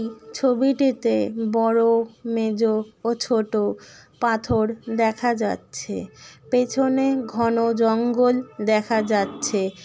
ছবিটিতে বড়ো মেজ ও ছোট পাথর দেখা যাচ্ছে পেছনে ঘন জঙ্গল দেখা যাচ্ছে।